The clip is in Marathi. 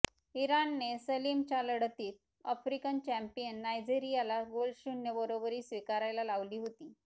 इराणने सलामीच्या लढतीत आफ्रिकन चॅँपियन नायजेरियाला गोलशून्य बरोबरी स्वीकारायला लावली होती